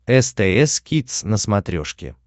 стс кидс на смотрешке